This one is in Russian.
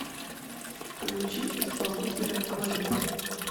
включи исполнителя клэй